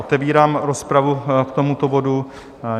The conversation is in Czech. Otevírám rozpravu k tomuto bodu.